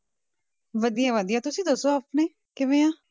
ਵਧੀਆ ਵਧੀਆ ਤੁਸੀਂ ਦੱਸੋ ਆਪਣੀ ਕਿਵੇਂ ਆਂ?